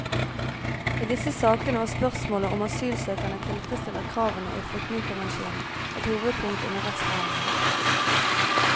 I disse sakene var spørsmålet om asylsøkeren tilfredsstiller kravene i flyktningekonvensjonen et hovedpunkt under rettsforhandlingene.